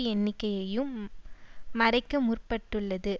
எண்ணிக்கையையும் மறைக்க முற்பட்டுள்ளது